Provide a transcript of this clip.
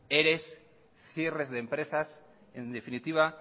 eres cierres de empresas en definitiva